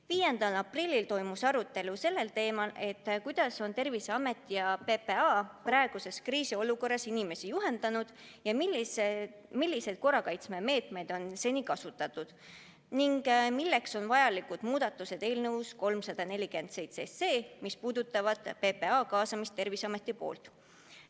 5. aprillil toimus arutelu teemal, kuidas on Terviseamet ja PPA praeguses kriisiolukorras inimesi juhendanud, milliseid korrakaitsemeetmeid on seni kasutatud ning milleks on vajalikud eelnõus 347 toodud muudatused, mis puudutavad PPA kaasamist Terviseameti poolt.